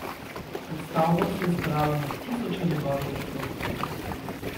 Pred stavbo se je zbralo na tisoče njegovih podpornikov.